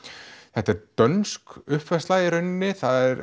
þetta er dönsk uppfærsla í rauninni það er